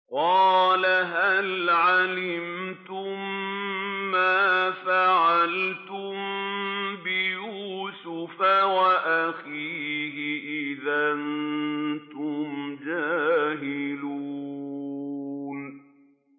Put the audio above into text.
قَالَ هَلْ عَلِمْتُم مَّا فَعَلْتُم بِيُوسُفَ وَأَخِيهِ إِذْ أَنتُمْ جَاهِلُونَ